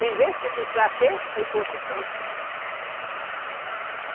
Sem ver, sem dizer para quê, para ir para outro canto.